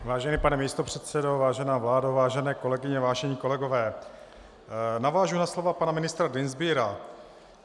Vážený pane místopředsedo, vážená vládo, vážené kolegyně, vážení kolegové, navážu na slova pana ministra Dienstbiera.